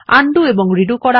undo এবং redo করা